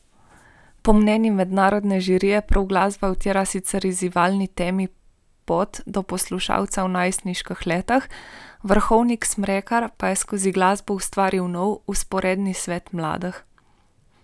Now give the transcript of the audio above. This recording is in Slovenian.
Po mnenju mednarodne žirije prav glasba utira sicer izzivalni temi pot do poslušalca v najstniških letih, Vrhovnik Smrekar pa je skozi glasbo ustvaril nov, vzporedni svet mladih.